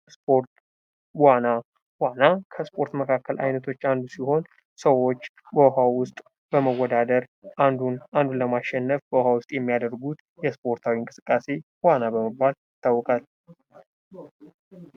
ስፖርት ዋና:- ዋና ከስፖርት መካከል አይነቶች አንዱ ሲሆን ሰዎች በውሀ ውስጥ በመወዳደር አንዱ አንዱን ለማሸነፍ በውሀ ውስጥ የሚያደርጉት ስፖርታዊ እንቅስቃሴ ዋና በመባል ይታወቃል።